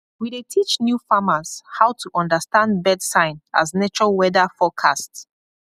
we dey teach new farmers how to understand bird sign as nature weather forecast